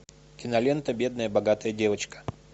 кинолента бедная богатая девочка